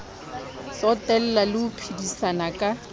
tsotella le ho phedisana ka